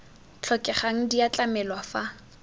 tlhokegang di a tlamelwa fa